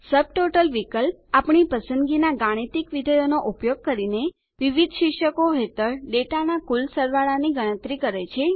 subtotal વિકલ્પ આપણી પસંદગીના ગાણિતિક વિધેયોનો ઉપયોગ કરીને વિવિધ શીર્ષકો હેઠળ ડેટાના કુલ સરવાળાની ગણતરી કરે છે